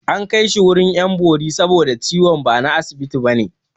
An kai shi wurin 'yan bori saboda ciwon ba na asibiti ba ne